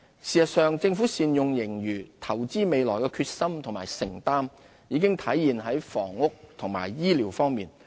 事實上，政府善用盈餘，投資未來的決心和承擔已體現在房屋和醫療方面。